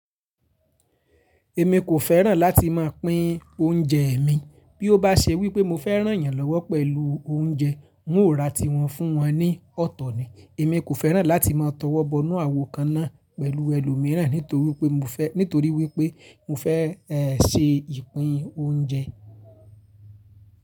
Èmi kò fẹ́ràn láti máa pín oúnjẹ mi. Bí ó bá ṣe wípé mo fẹ́ rán yan lọ́wọ́ pẹ̀lú oúnjẹ, n ó ra tiwọn fún wọn ní ọ̀tọ̀ ni. Èmi kò fẹ́ràn láti máa tọwọ́bọ ínú àwo kan náà pẹ̀lú ẹlòmíràn nítorí wípé mo fẹ́, nítorí wípé mo fẹ́ ẹ́ ṣe ìpín oúnjẹ.